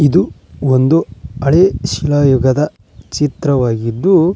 ಇದು ಒಂದು ಹಳೆ ಶಿಲಾಯುಗದ ಚಿತ್ರವಾಗಿದ್ದು--